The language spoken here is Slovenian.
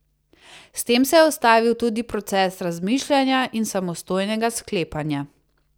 S tem se je ustavil tudi proces razmišljanja in samostojnega sklepanja.